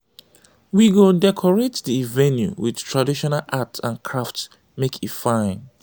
we go decorate di venue with traditional art and crafts make e fine.